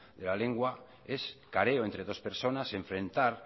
de la lengua es careo entre dos personas enfrentar